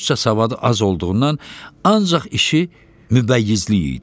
Rusca savadı az olduğundan ancaq işi mübəyyizlik idi.